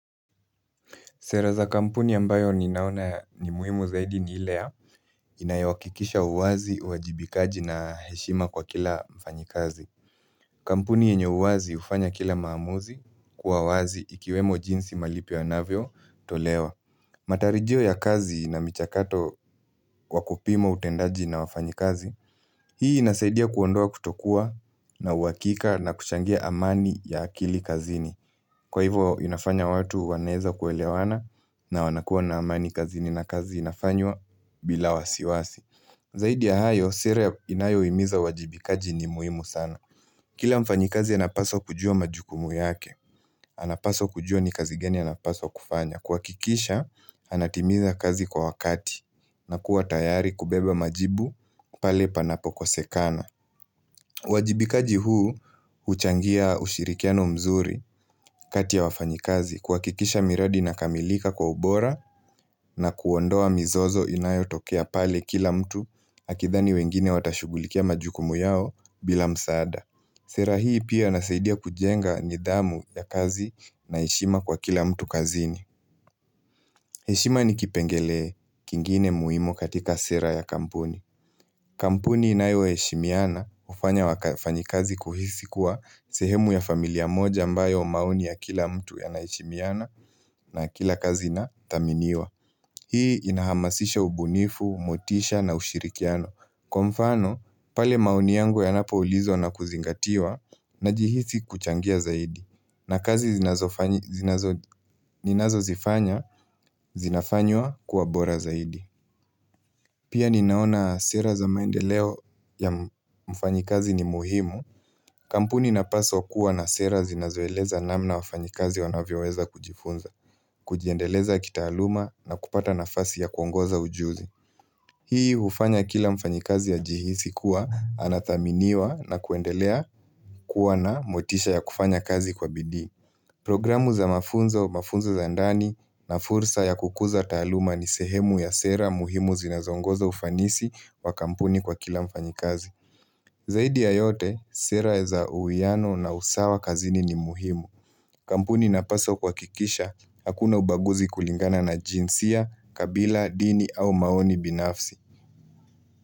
Sera za kampuni ambayo ninaona ni muhimu zaidi ni ile. Inayawakikisha uwazi, uwajibikaji na heshima kwa kila mfanyi kazi. Kampuni yenye uwazi hufanya kila maamuzi kuawazi ikiwemo jinsi malipo yanavyo tolewa. Matarijio ya kazi na michakato kwa kupima utendaji na wafanyi kazi. Hii inasaidia kuondoa kutokua na uwakika na kushangia amani ya akili kazini. Na watu wanaweza kuelewa kazi na wanakuwa na amani kazini nakazi inafanywa bila wasiwasi. Zaidi ya hayo, sera inayo imiza uwajibikaji ni muhimu sana. Kila mfanyikazi ya anapaswa kujua majukumu yake. Anapaswa kujua ni kazi gani ya napaswa kufanya. Kwa kikisha, anatimiza kazi kwa wakati. Na kuwa tayari kubeba majibu pale panapoko sekana. Uwajibikaji huu, huchangia ushirikiano mzuri kati ya wafanyikazi. Kuhakikisha miradi ina kamilika kwa ubora na kuondoa mizozo inayo tokea pale kila mtu akithani wengine watashugulikia majukumu yao bila msaada. Sera hii pia inasaidia kujenga nidhamu ya kazi na heshima kwa kila mtu kazini. Heshima ni kipengele kingine muhimu katika sera ya kampuni. Kampuni inayo heshimiana hufanya wakafanyi kazi kuhisi kuwa sehemu ya familia moja ambayo maoni ya kila mtu ya na heshimiana na kila kazi na thaminiwa. Hii inahamasisha ubunifu, motisha na ushirikiano. Kwa mfano, pale maoni yangu yanapo ulizwa na kuzingatiwa na jihisi kuchangia zaidi. Na kazi zinazo zifanya, zinafanywa kuwabora zaidi. Pia ninaona sera za maendeleo ya mfanyikazi ni muhimu. Kampuni na inapaswa kuwa na sera zinazo eleza namna wafanyikazi wanavyo weza kujifunza. Kujiendeleza kitaaluma na kupata nafasi ya kuongoza ujuzi. Hii hufanya kila mfanyikazi ya ajihisi kuwa anathaminiwa na kuendelea kuwa na motisha ya kufanya kazi kwa bidii. Programu za mafunzo, mafunzo za ndani na fursa ya kukuza taaluma ni sehemu ya sera muhimu zinazongoza ufanisi wa kampuni kwa kila mfanyikazi. Zaidi ya yote, sera za uwiano na usawa kazini ni muhimu. Kampuni na paswa kwa kuhakikisha, hakuna ubaguzi kulingana na jinsia, kabila, dini au maoni binafsi.